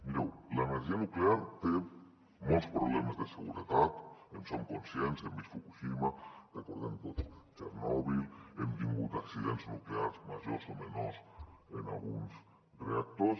mireu l’energia nuclear té molts problemes de seguretat en som conscients hem vist fukushima recordem tots txernòbil hem tingut accidents nuclears majors o menors en alguns reactors